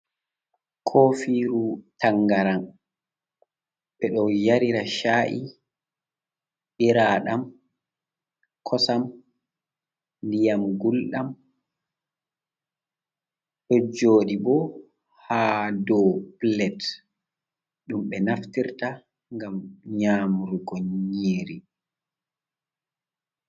Kofiru tangaran ɓe ɗo yarira cha’i, ɓiraɗam, kosam, ndiyam gulɗam, ɗo joɗi bo ha dou plat ɗum ɓe naftirta ngam nyamrugo nyiri.